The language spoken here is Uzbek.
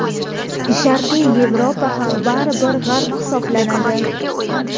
Sharqiy Yevropa ham bari bir G‘arb hisoblanadi.